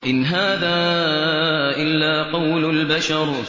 إِنْ هَٰذَا إِلَّا قَوْلُ الْبَشَرِ